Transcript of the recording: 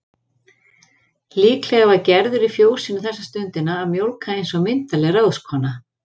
Líklega var Gerður í fjósinu þessa stundina að mjólka eins og myndarleg ráðskona.